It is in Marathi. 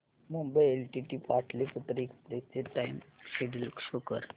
मुंबई एलटीटी पाटलिपुत्र एक्सप्रेस चे टाइम शेड्यूल शो कर